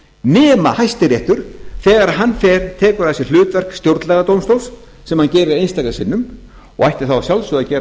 nema hæstiréttur þegar hann fer tekur að sér hlutverk stjórnlagadómstóls sem hann gerir einstaka sinnum og ætti þá að sjálfsögðu að vera